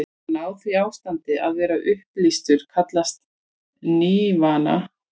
Að ná því ástandi, að vera upplýstur, kallast nirvana.